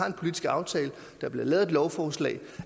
en politisk aftale og der bliver lavet lovforslag